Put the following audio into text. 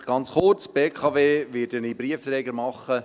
Ganz kurz: Bei der BKW werde ich den Briefträger zur WEU machen;